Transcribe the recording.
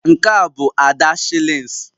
Nke a bụ Ada shillings